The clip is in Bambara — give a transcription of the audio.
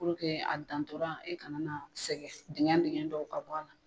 Puruke a dantɔra e kana na sɛgɛn digɛn digɛn dɔw ka bɔ a la